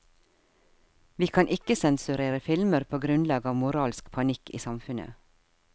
Vi kan ikke sensurere filmer på grunnlag av moralsk panikk i samfunnet.